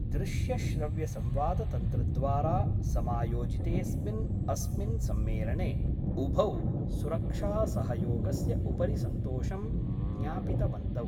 दृश्यश्रव्यसंवादतन्त्रद्वारा समायोजितेस्मिन् अस्मिन् सम्मेलने उभौ सुरक्षासहयोगस्य उपरि सन्तोषं ज्ञापितवन्तौ।